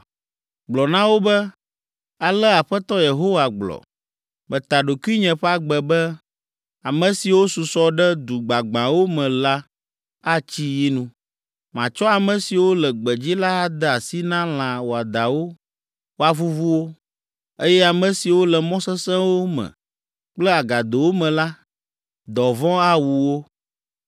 Gblɔ na wo be, alea Aƒetɔ Yehowa gblɔ. “Meta ɖokuinye ƒe agbe be, ame siwo susɔ ɖe du gbagbãwo me la atsi yi nu; matsɔ ame siwo le gbedzi la ade asi na lã wɔadãwo woavuvu wo, eye ame siwo le mɔ sesẽwo me kple agadowo me la, dɔvɔ̃ awu wo.